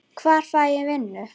Hvar fæ ég vinnu?